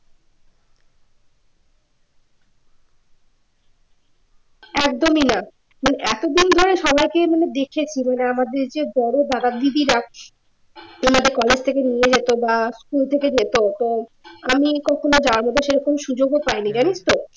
একদমই না এতদিন ধরে সবাইকে মানে দেখেছি মানে আমাদের যে বড় দাদা-দিদিরা উনাদের college কলেজ থেকে নিয়ে যেত বা স্কুল থেকে যেত তো আমি কখনও যাওয়ার মত সেরকম সুযোগ ও পাইনি জানিস তো